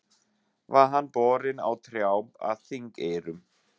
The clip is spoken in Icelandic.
Var hann borinn á trjám að Þingeyrum.